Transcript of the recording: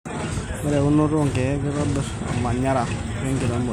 Ore eunoto oo kiek kitobir ormanyara wenkiremore